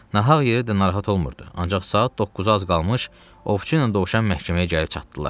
Nahaq yerə də narahat olmurdu, ancaq saat 9-a az qalmış ovçu ilə dovşan məhkəməyə gəlib çatdılar.